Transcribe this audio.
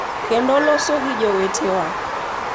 Kendo loso gi jowetewa .